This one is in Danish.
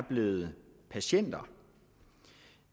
blevet patienter